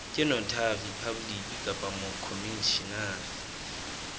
ke notary public kapa mokhomishenara